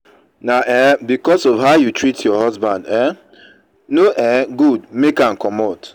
na um because of how you tret your husband um no um good make am comot.